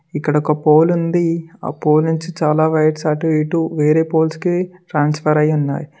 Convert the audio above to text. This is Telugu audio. ఇక్కడ ఒక పౌలు ఉంది ఆ పోల్ నుంచి చాలా వైర్స్ అటుఇటు వేరే పోల్స్ కి ట్రాన్స్ఫర్ అయి ఉన్నాయి.